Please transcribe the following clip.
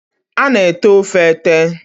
a na-ete ofe ete.